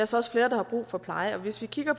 så også flere der har brug for pleje hvis vi kigger